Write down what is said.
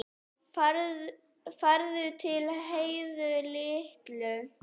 Farðu til Heiðu litlu.